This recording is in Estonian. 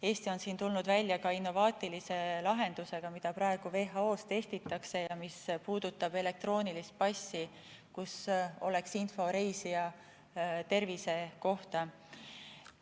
Eesti on siin tulnud välja ka innovaatilise lahendusega, mida praegu WHO-s testitakse ja mis puudutab elektroonilist passi, kus oleks info reisija tervise kohta.